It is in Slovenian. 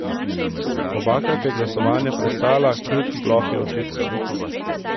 Obakrat je glasovanje prestala, kljub plohi očitkov.